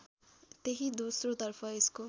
त्यही दोस्रोतर्फ यसको